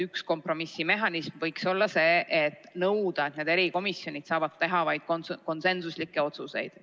Üks kompromissi mehhanism võiks olla nõue, et erikomisjonid saavad teha vaid konsensuslikke otsuseid.